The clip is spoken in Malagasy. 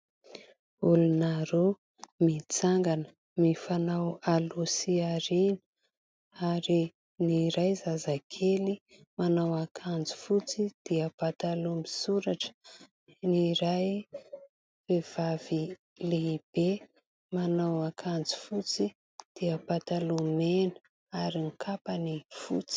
Olona roa mitsangana mifanao aloha sy aoriana ary ny iray zazakely manao akanjo fotsy dia pataloha misoratra ; ny iray vehivavy lehibe manao akanjo fotsy dia pataloha mena ary ny kapany fotsy.